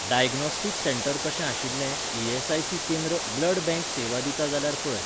Diagnostic centre कशें आशिल्लें ESIC. केंद्र ब्लड बँक सेवा दिता जाल्यार पळय.